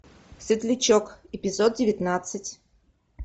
светлячок эпизод девятнадцать